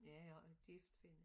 Ja og er gift Finne